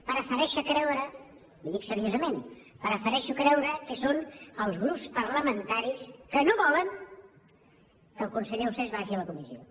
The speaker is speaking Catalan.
prefereixo creure li ho dic seriosament prefereixo creure que són els grups parlamentaris que no volen que el conseller ausàs vagi a la comissió